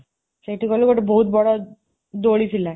ସେଠି ଗଲୁ ଗୋଟେ ବହୁତ ବଡ଼ ଦୋଳି ଥିଲା।